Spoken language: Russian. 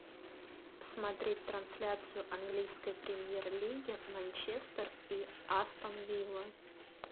смотреть трансляцию английской премьер лиги манчестер и астон вилла